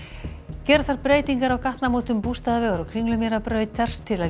gera þarf breytingar á gatnamótum Bústaðavegar og Kringlumýrarbrautar til að